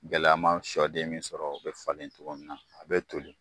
Gɛlɛya ma sɔden min sɔrɔ o be falen cogo min na a be toli